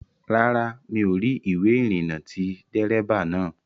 Rárá, mi ò rí ìwé ìrìnnà ti dérébà naa